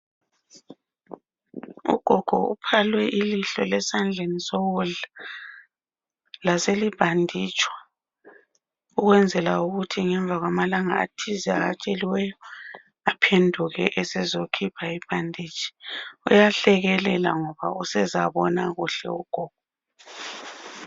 Ugogo uphalwe ilihlo lesandleni sokudla laselibhanditshwa, ukwenzela ukuthi ngemva kwamalanga athize awatsheliweyo aphenduke esezokhipha ibhanditshi. Uyahlekelela ngoba usezabona kuhle ugogo.